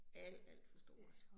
Alt alt for stort